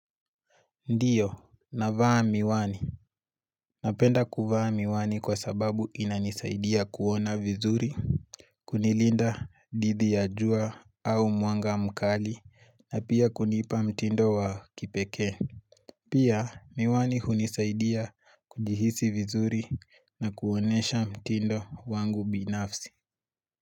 Ndio, navaa miwani. Napenda kuvaa miwani kwa sababu inanisaidia kuona vizuri. Kunilinda dhidi ya jua au mwanga mkali na pia kunipa mtindo wa kipekee. Pia miwani hunisaidia kujihisi vizuri na kuonyesha mtindo wangu binafsi.